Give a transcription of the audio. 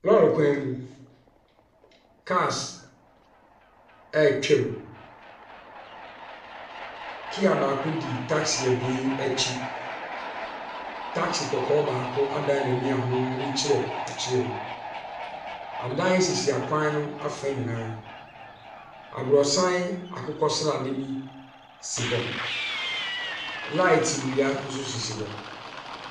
Lɔri kwan mu, cars ɛretwa mu. Kia baako di taxi ebien ɛkyi. Taxi kɔkɔɔ baako adaan n'ani a ɔno n'ani kyerɛ akyire hɔ. Adan sisi akwan no afa nyinaa. Aboronsan akokɔ sradeɛ bi si hɔ. Light nnua nso sisi hɔ.